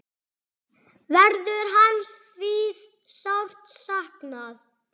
Verður hans því sárt saknað.